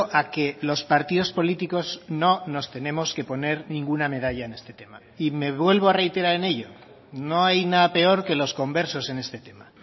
a que los partidos políticos no nos tenemos que poner ninguna medalla en este tema y me vuelvo a reiterar en ello no hay nada peor que los conversos en este tema